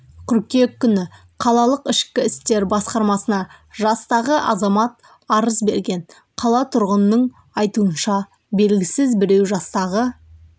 қыркүйек күні қалалық ішкі істер басқармасына жастағы азамат арыз берген қала тұрғынының айтуынша белгісіз біреу жастағы